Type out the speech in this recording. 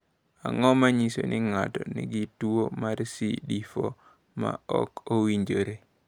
Ang’o ma nyiso ni ng’ato nigi tuwo mar CD4 ma ok owinjore?